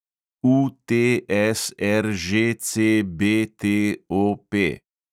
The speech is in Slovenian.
UTSRŽCBTOP